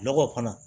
Lɔgɔ kɔnɔ